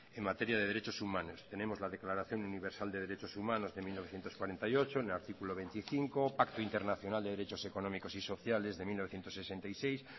en materia de derechos humanos tenemos la declaración universal de derechos humanos de mil novecientos cuarenta y ocho en el artículo veinticinco pacto internacional de derechos económicos y sociales de mil novecientos sesenta y seis